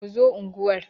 Ku zo unguwar!